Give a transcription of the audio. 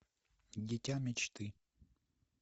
дитя мечты